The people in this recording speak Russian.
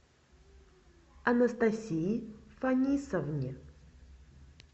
анастасии фанисовне